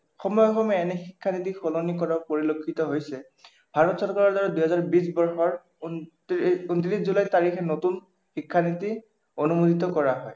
সময়ে সময়ে এনে শিক্ষানীতি সলনি কৰাও পৰিলক্ষিত হৈছে। ভাৰত চৰকাৰৰ দ্বাৰা দুহেজাৰ বিশ বৰ্ষৰ ঊনত্ৰিশ জুলাই তাৰিখে নতুন শিক্ষানীতি অনুমোদিত কৰা হয়।